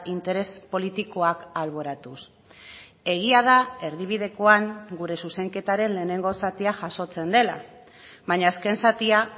interes politikoak alboratuz egia da erdibidekoan gure zuzenketaren lehenengo zatia jasotzen dela baina azken zatia